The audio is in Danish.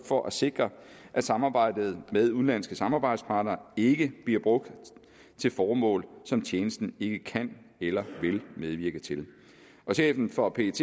for at sikre at samarbejde med udenlandske samarbejdspartnere ikke bliver brugt til formål som tjenesten ikke kan eller vil medvirke til og chefen for pet